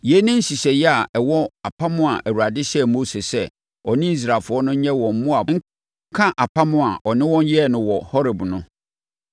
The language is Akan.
Yei ne nhyehyɛeɛ a ɛwɔ apam a Awurade hyɛɛ Mose sɛ ɔne Israelfoɔ no nyɛ wɔ Moab nka apam a ɔne wɔn yɛɛ no wɔ Horeb no.